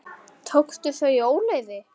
Tókstu þau í óleyfi?